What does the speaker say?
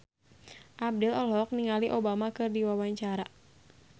Abdel olohok ningali Obama keur diwawancara